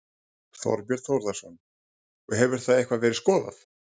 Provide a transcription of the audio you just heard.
Þorbjörn Þórðarson: Og hefur það eitthvað verið skoðað?